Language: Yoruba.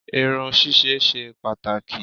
Irun ṣíṣe ṣe pàtàkì.